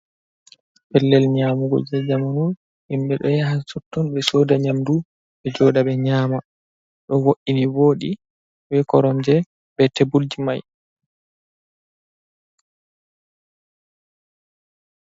Pellel nyaamugo jey zamanu, himbe ɗo yaha totton ɓe sooda nyaamndu ɓe joodɗa ɓe nyaama. Ɗo vo’ini vooɗi be koromje be teebulji. mai